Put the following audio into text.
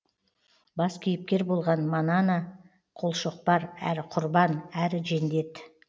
бас кейіпкер болған манана қолшоқпар әрі құрбан әрі жендет